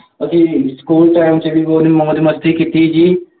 ਅਸੀਂ school time 'ਚ ਵੀ ਬਹੁਤ ਮੌਜ ਮਸਤੀ ਕੀਤੀ ਜੀ,